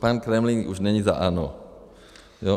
Pan Kremlík už není za ANO.